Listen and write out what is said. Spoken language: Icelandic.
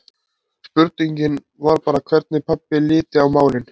Spurningin var bara hvernig pabbi liti á málin.